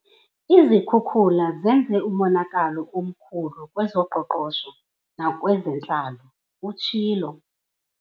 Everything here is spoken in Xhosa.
"Izikhukula zenze umonakalo omkhulu kwezoqoqosho nakwezentlalo," utshilo.